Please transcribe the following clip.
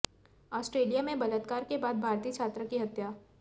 Australia में बलात्कार के बाद भारतीय छात्रा की हत्या